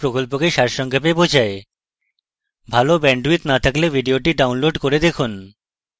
এটি spoken tutorial প্রকল্পকে সারসংক্ষেপে বোঝায় যদি আপনার ভাল bandwidth না থাকে তাহলে আপনি এটি download করে দেখতে পারেন